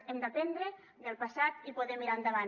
hem d’aprendre del passat i poder mirar endavant